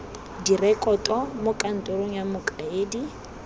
direkoto mo kantorong ya mokaedi